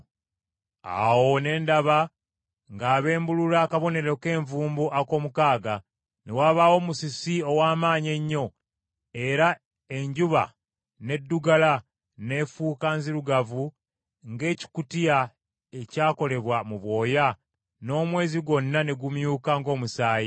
Awo ne ndaba ng’abembulula akabonero k’envumbo ak’omukaaga; ne wabaawo musisi ow’amaanyi ennyo, era enjuba n’eddugala n’efuuka nzirugavu ng’ekibukutu ekyakolebwa mu bwoya, n’omwezi gwonna ne gumyuka ng’omusaayi.